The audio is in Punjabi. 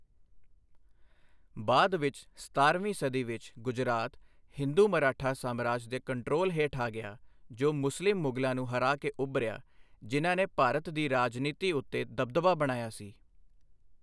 ਬਾਅਦ ਵਿੱਚ ਸਤਾਰਵੀਂ ਸਦੀ ਵਿੱਚ, ਗੁਜਰਾਤ ਹਿੰਦੂ ਮਰਾਠਾ ਸਾਮਰਾਜ ਦੇ ਕੰਟਰੋਲ ਹੇਠ ਆ ਗਿਆ ਜੋ ਮੁਸਲਿਮ ਮੁਗਲਾਂ ਨੂੰ ਹਰਾ ਕੇ ਉੱਭਰਿਆ, ਜਿਨ੍ਹਾਂ ਨੇ ਭਾਰਤ ਦੀ ਰਾਜਨੀਤੀ ਉੱਤੇ ਦਬਦਬਾ ਬਣਾਇਆ ਸੀ।